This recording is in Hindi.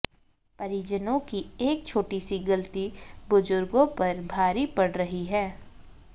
परिजनों की एक छोटी सी गलती बुजुर्गों पर भारी पड़ रही है